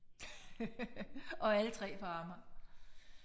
Og alle 3 på Amager